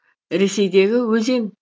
ресейдегі өзен